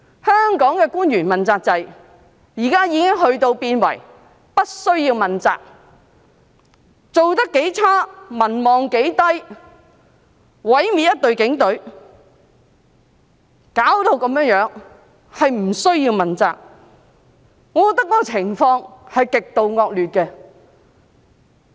香港的問責官員現已變為不需要問責，不管做得多麼差、民望多麼低、毀滅一隊警隊，弄成這樣子，也不需要問責，我覺得情況是極度惡劣的。